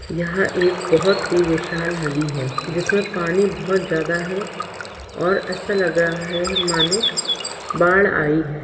यह एक बहुत ही विशाल नदी है जिसमें पानी बहुत ज्यादा है और ऐसा लग रहा है मानो बाड़ आई है।